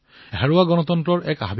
হেৰুওৱা গণতন্ত্ৰৰ প্ৰতি আছিল